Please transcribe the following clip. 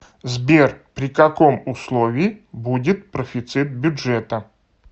сбер при каком условии будет профицит бюджета